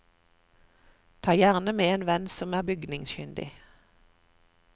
Ta gjerne med en venn som er bygningskyndig.